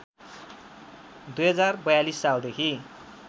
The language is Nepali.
२०४२ सालदेखि